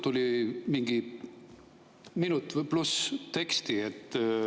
Tuli mingi minuti või rohkem teksti.